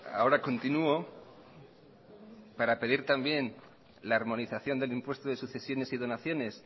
ahora continuo para pedir también la armonización del impuesto de sucesiones y donaciones